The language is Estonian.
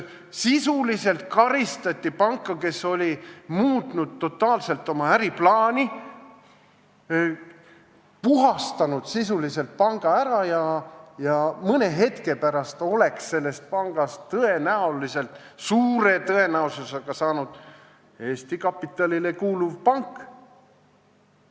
Sisuliselt karistati panka, kes oli totaalselt muutnud oma äriplaani, puhastanud sisuliselt panga ära ja mõne hetke pärast oleks sellest pangast suure tõenäosusega saanud Eesti kapitalile kuuluv pank.